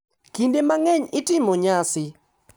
Kinde mang’eny itimo nyasi,